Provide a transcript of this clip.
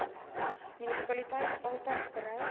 munisipaliteit altys bereid